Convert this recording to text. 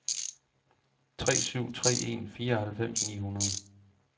tre syv tre en fireoghalvfems ni hundrede